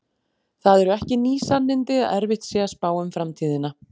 Það eru ekki ný sannindi að erfitt sé að spá um framtíðina.